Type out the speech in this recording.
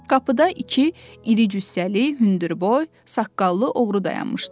Qapıda iki iri cüssəli, hündürboy, saqqallı oğru dayanmışdı.